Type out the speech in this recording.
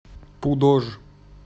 пудож